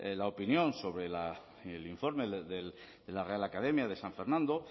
la opinión sobre el informe de la real academia de san fernando